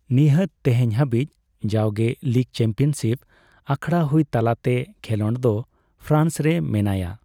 ᱱᱤᱦᱟᱹᱛ, ᱛᱮᱦᱮᱧ ᱦᱟᱹᱵᱤᱡ ᱡᱟᱣᱜᱮ ᱞᱤᱜ ᱪᱮᱢᱯᱤᱭᱚᱱᱥᱤᱯ ᱟᱠᱷᱟᱲᱟ ᱦᱩᱭ ᱛᱟᱞᱟᱛᱮ ᱠᱷᱮᱞᱳᱰ ᱫᱚ ᱯᱷᱨᱟᱱᱥ ᱨᱮ ᱢᱮᱱᱟᱭᱼᱟ ᱾